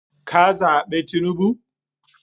ka zabe tinubu?